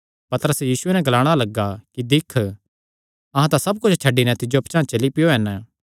पतरस यीशुये नैं ग्लाणा लग्गा कि दिक्ख अहां तां सब कुच्छ छड्डी नैं तिज्जो पचांह़ चली पैयो हन